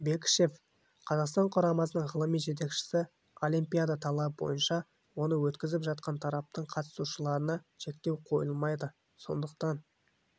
бекішев қазақстан құрамасының ғылыми жетекшісі олимпиада талабы бойынша оны өткізіп жатқан тараптың қатысушыларына шектеу қойылмайды сондықтан